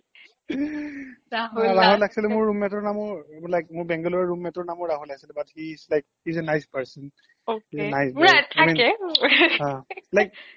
actually মোৰ roommate ৰ নামো like মোৰ bengali roommate ৰ নামো ৰাহুল আচিল but he is like he is a nice person